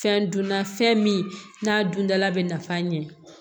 Fɛn dunna fɛn min n'a dundala bɛ nafa ɲɛ